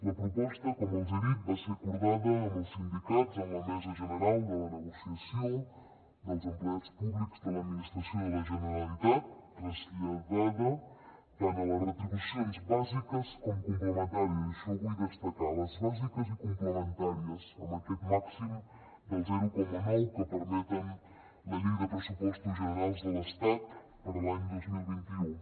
la proposta com els he dit va ser acordada amb els sindicats en la mesa general de negociació de l’empleat públic de l’administració de la generalitat i traslladada tant a les retribucions bàsiques com complementàries i això ho vull destacar les bàsiques i les complementàries amb aquest màxim del zero coma nou que permet la llei de pressupostos generals de l’estat per a l’any dos mil vint u